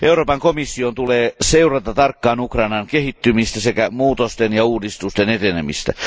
Euroopan komission tulee seurata tarkkaan Ukrainan kehittymistä sekä muutosten ja uudistusten etenemistä.